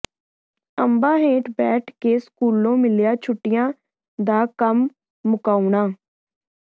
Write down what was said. ਅੰਬਾਂ ਹੇਠ ਬੈਠ ਕੇ ਸਕੂਲੋਂ ਮਿਲਿਆ ਛੁੱਟੀਆਂ ਦਾ ਕੰਮ ਮੁਕਾਉਣਾ